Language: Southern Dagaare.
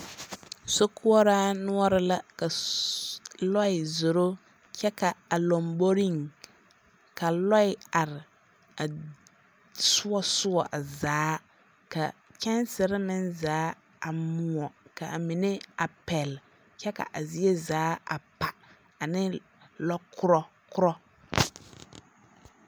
Sokoɔraa noɔre la ka ssssssss lɔɛ zoro kyɛ ka a lomboriŋ ka lɔɛ are a soɔ soɔ a zaa ka kyɛnsere meŋ zaa a moɔ. Ka a mine a pɛle kyɛ ka kyɛ ka zie zaa a pa ane lɔkorɔ korɔ.